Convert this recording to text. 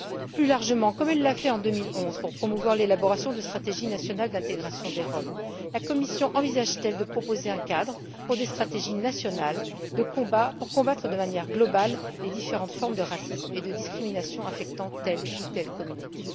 Plus largement, comme elle l'a fait en 2011 pour promouvoir l'élaboration de stratégies nationales d'intégration des Roms, la Commission envisage t elle de proposer un cadre pour des stratégies nationales visant à combattre de manière globale les différentes formes de racisme et de discrimination touchant telle ou telle communauté?